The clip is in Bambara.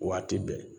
Waati bɛɛ